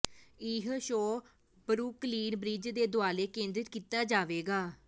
ਇਹ show Brooklyn Bridge ਦੇ ਦੁਆਲੇ ਕੇਂਦਰਿਤ ਕੀਤਾ ਜਾਵੇਗਾ